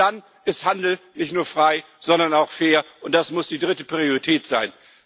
Erst dann ist Handel nicht nur frei, sondern auch fair, und das muss die dritte Priorität sein.